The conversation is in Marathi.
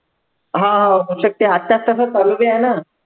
हा आताच तसं चालू बी आहे नं